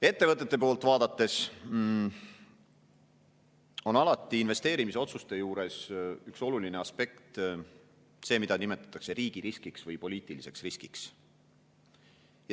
Ettevõtete poolt vaadates on investeerimisotsuste juures alati üks oluline aspekt see, mida nimetatakse riigiriskiks või poliitiliseks riskiks.